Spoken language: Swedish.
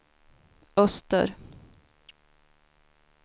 öster